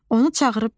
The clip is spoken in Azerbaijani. Onu çağırıb dedi.